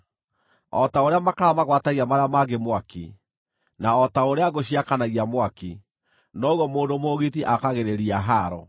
O ta ũrĩa makara magwatagia marĩa mangĩ mwaki, na o ta ũrĩa ngũ ciakanagia mwaki, noguo mũndũ mũũgiti aakagĩrĩria haaro.